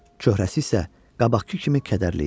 Çöhrəsi isə qabaqkı kimi kədərli idi.